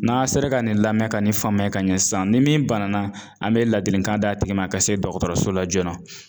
N'a sera ka nin lamɛn ka nin faamuya ka ɲɛ sisan ni min banana an be laadilikan d'a tigi ma ka se dɔgɔtɔrɔso la joona